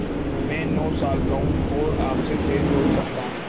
मैं नौ साल का हूँ और आपसे तेज़ दौड़ सकता हूँ